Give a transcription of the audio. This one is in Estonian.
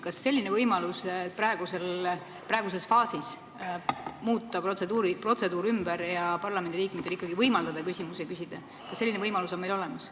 Kas selline võimalus, et praeguses faasis muuta protseduuri ja parlamendiliikmetel ikka võimaldada küsida, on meil olemas?